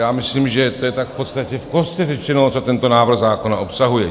Já myslím, že to je tak v podstatě v kostce řečeno, co tento návrh zákona obsahuje.